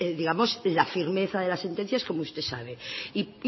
la firmeza de las sentencias como usted sabe y